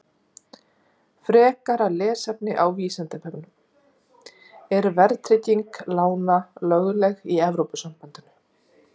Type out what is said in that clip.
Frekara lesefni á Vísindavefnum: Er verðtrygging lána lögleg í Evrópusambandinu?